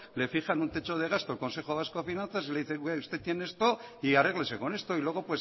le fijan un techo de gasto el consejo vasco de finanzas y le dice usted tiene esto y arréglese con esto y luego